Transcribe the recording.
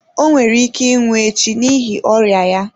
O nwere ike ịnwụ echi n’ihi ọrịa ya.